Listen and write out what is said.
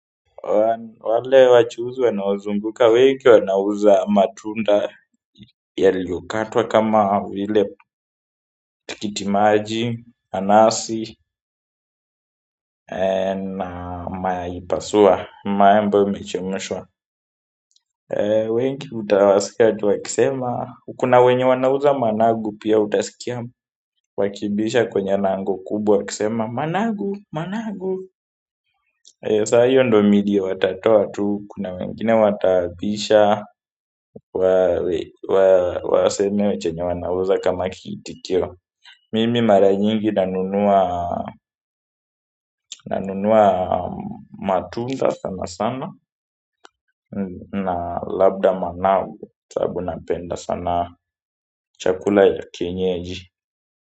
Wale wachuuzi wanaozunguka wengi wanauza matunda yaliokatwa kama vile tikitimaji, nanasi, mayai pasua, mayai ambayo imechemshwa wengi utawasikia tu wakisema, kuna wenye wanauza managu pia utasikia wakibisha kwenye lango kubwa wakisema managu, managu saa hiyo ndo milio watatoa tu kuna wengine watabisha waseme chenye wanauza kama kiitikio mimi mara nyingi nanunua nanunua matunda sana sana na labda managu sababu napenda sana chakula ya kienyeji.